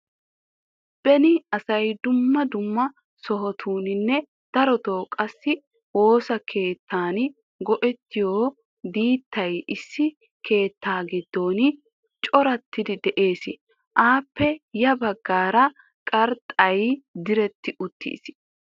Beni asay dumma dumma sohotuuninne darotoo qassi woosa keettan go'ettiyo diittay issi keettaa giddon corattidi de'ees. Appe ya baggaara qrxxay diretti uttiis.